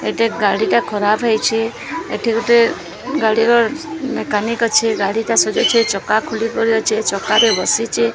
ଏଟା ଗାଡ଼ି ଟା ଖରାପ୍ ହେଇଛି ଏଠି ଗୋଟେ ଉଁ ଗାଡ଼ି ର ମେକାନିକ ଅଛି ଗାଡ଼ି ଟା ସଜଉଛି ଚକା ଖୋଲି କରି ଅଛି ଚକାରେ ବସିଚି।